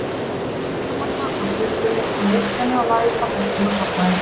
Ég var örmagna af göngunni og neyslunni og lagðist á bekkinn og sofnaði.